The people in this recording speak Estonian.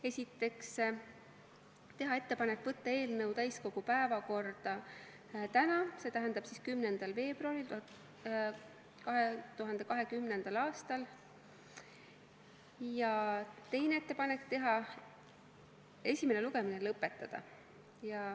Esiteks, teha ettepanek võtta eelnõu täiskogu päevakorda täna, s.t 10. veebruaril 2020. aastal, ja teine ettepanek oli esimene lugemine lõpetada.